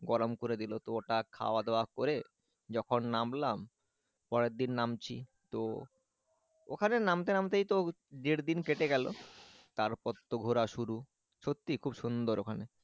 গরম করে দিল, তো ওটা খাওয়া দাওয়া করে যখন নামলাম পরের দিন নামছি তো ওখানেই নামতে নামতে তো ডের দিন কেটে গেলো তারপর তো ঘোরা শুরু সত্যিই খুব সুন্দর ওখানে,